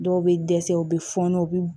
Dɔw bɛ dɛsɛ u bɛ fɔɔnɔ u bɛ